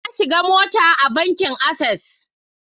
Na shiga mota a bankin Access.